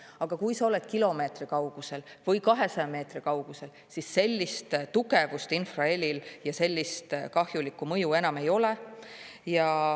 Aga kui sa oled kilomeetri kaugusel või 200 meetri kaugusel, siis sellist tugevust infrahelil ja sellist kahjulikku mõju enam ei ole.